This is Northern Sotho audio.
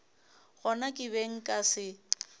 gona ke be nka se